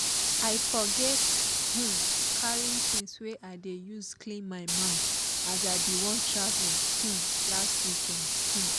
i forget um carrythings wey i dey use clean my mouth as i bin wan travel um last weekend um